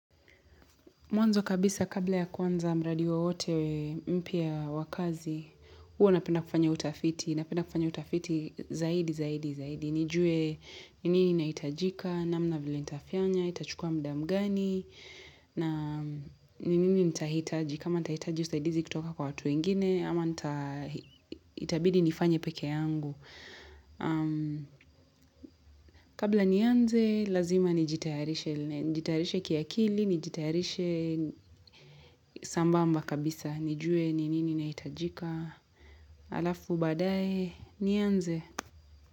Mwanzo kabisa kabla ya kwanza mradi wowote mpya wa kazi, huwa napenda kufanya utafiti, napenda kufanya utafiti zaidi, zaidi, zaidi. Nijue ni nini inaitajika, namna vile nitafanya, itachukua muda mgani, na ni nini nitahitaji, kama nitahitaji usaidizi kutoka kwa watu wengine, ama nitabidi nifanye peke yangu. Kabla nianze lazima nijitayarishe kiakili nijitayarishe sambamba kabisa nijue ni nini inaitajika Alafu baadae nianze.